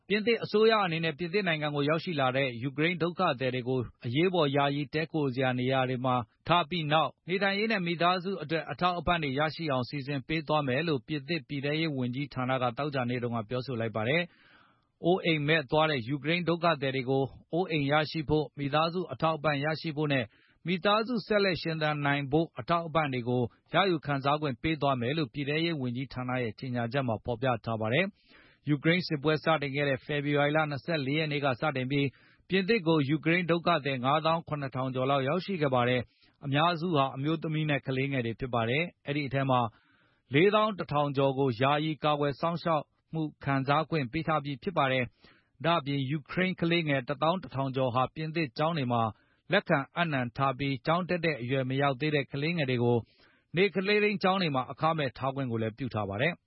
ပြင်သစ်အစိုးရအနေနဲ့ ပြင်သစ်နိုင်ငံကိုရောက်ရှိလာတဲ့ ယူကရိန်းဒုက္ခသည်တွေကို အရေးပေါ်ယာယီတည်းခိုရာဖို့ နေရာတွေမှာထားပြီးနောက်၊ နေထိုင်ရေးနဲ့ မိသားစုအတွက် အထောက်အပံ့ တွေရရှိအောင်စီစဉ်ပေးသွားမယ်လို့ ပြင်သစ်ပြည်ထဲရေးဝန်ကြီးဌာနက သောကြာနေ့က ပြောဆိုလိုက်ပါတယ်။ အိုးအိမ်မဲ့သွားတဲ့ ယူကရိန်းဒုက္ခသည်တွေကို အိုးအိမ်ရရှိဖို့၊ မိသားစုအထောက်ပံ့ရရှိဖို့နဲ့၊ မိသားစုဆက်လက်ရှင်သန်နိုင်ဖို့ အထောက်အပံ့တွေကို ရယူခံစားခွင့်ပေးသွားမယ်လို့ ပြည်ထဲရေးဝန်ကြီးဌာနရဲ့ကြေညာချက်မှ ဖေါ်ပြထားပါတယ်။ ယူကရိန်းစစ်ပွဲစတင်ခဲ့တဲ့ ဖေဖေါ်ဝါရီလ ၂၄ ရက်နေ့ကစပြီး ပြင်သစ်ကို ယူကရိန်းဒုက္ခသည် ၅ သောင်း ၇ ထောင်ကျော်ရောက်ရှိခဲ့ပါတယ်။ အများစုဟာ၊ အမျိုးသမီးနဲ့ ကလေးငယ်တွေဖြစ်ကြပါတယ်။ အဲဒီအထဲက ၄ သောင်း ၁ ထောင်ကျော်ကို ယာယီကာကွယ် စောင့်ရှောက်မှု ခံစားခွင့်ပေးထားပြီးဖြစ်ပါတယ်။ ဒါ့အပြင် ယူကရိန်း ခလေးငယ် ၁ သောင်း ၁ ထောင်ကျော်ဟာ ပြင်သစ်ကျောင်းတွေမှာ လက်ခံအပ်နှံထားပြီး၊ ကျောင်းတက်တဲ့ အရွယ်မရောက်သေးတဲ့ ကလေးငယ်တွေကို နေ့ကလေးထိန်းကျောင်းအခမဲ့ ထားခွင့်လည်းပြုထားပါတယ်။